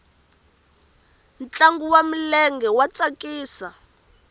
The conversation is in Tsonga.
ntlangu wa milenge wa tsakisa